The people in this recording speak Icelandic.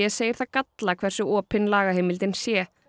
segir það galla hversu opin lagaheimildin sé